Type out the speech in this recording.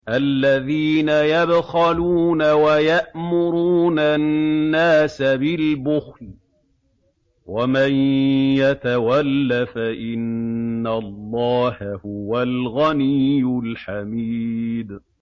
الَّذِينَ يَبْخَلُونَ وَيَأْمُرُونَ النَّاسَ بِالْبُخْلِ ۗ وَمَن يَتَوَلَّ فَإِنَّ اللَّهَ هُوَ الْغَنِيُّ الْحَمِيدُ